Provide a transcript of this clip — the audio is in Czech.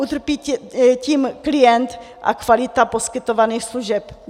Utrpí tím klient a kvalita poskytovaných služeb.